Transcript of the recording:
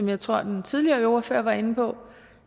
jeg tror den tidligere ordfører var inde på